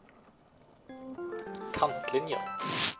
kantlinjer